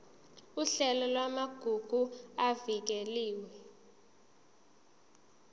uhlelo lwamagugu avikelwe